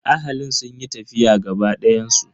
Ahalin sun yi tafiya gaba dayan su.